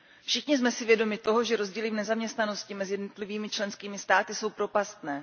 Všichni jsme si vědomi toho, že rozdíly v nezaměstnanosti mezi jednotlivými členskými státy jsou propastné.